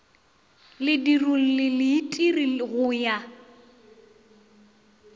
ledirolli le leitiri go ya